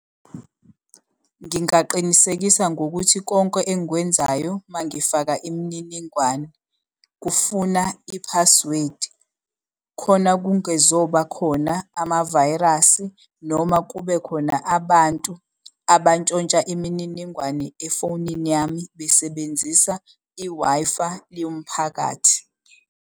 Ngingaqinisekisa ngokuthi konke engikwenzayo uma ngifaka imininingwane, kufuna i-password khona kungezoba khona amavayirasi, noma kubekhona abantu ntshontsha imininingwane efonini yami besebenzisa i-Wi-Fi yomphakathi.